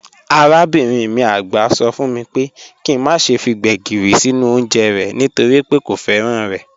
Arabinrin mi àgbà sọ fún mi pé kí n má ṣe fi Gbegírí sínú oúnjẹ rẹ̀ nítorí pé kò fẹ́ràn rẹ̀.